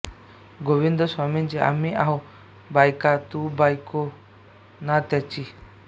गोविंदस्वामींची आम्ही आहो बायका तू बायको ना त्याची